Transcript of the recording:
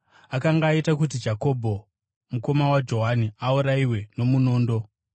Akanga aita kuti Jakobho mukoma waJohani aurayiwe nomunondo.